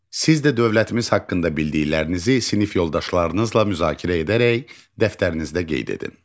Siz də dövlətimiz haqqında bildiklərinizi sinif yoldaşlarınızla müzakirə edərək dəftərinizdə qeyd edin.